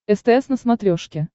стс на смотрешке